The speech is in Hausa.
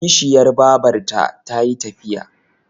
Kishiyar babarta ta yi tafiya.